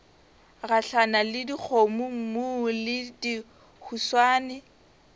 gahlana le dikgomommuu le dihuswane